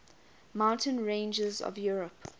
mountain ranges of europe